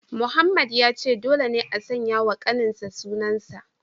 Mohammed ya ce dole ne a sanya wa kaninsa sunan sa